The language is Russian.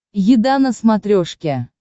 еда на смотрешке